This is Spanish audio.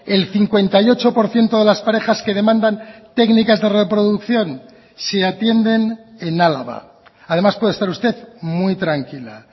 el cincuenta y ocho por ciento de las parejas que demandan técnicas de reproducción se atienden en álava además puede estar usted muy tranquila